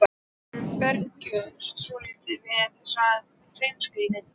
Honum bregður svolítið við þessa hreinskilni.